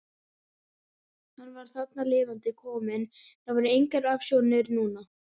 Hann var þarna lifandi kominn, það voru engar ofsjónir núna!